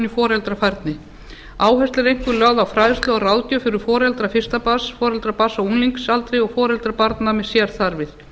í foreldrafærni áhersla er einkum lögð á fræðslu og ráðgjöf fyrir foreldra fyrsta barns foreldra barna á unglingsaldri og foreldra barna með sérþarfir